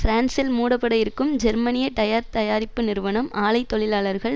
பிரான்சில் மூடப்பட இருக்கும் ஜெர்மனிய டயர் தயாரிப்பு நிறுவனம் ஆலை தொழிலாளர்கள்